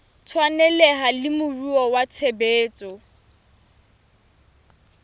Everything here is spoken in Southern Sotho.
tshwaneleha le moruo wa tshebetso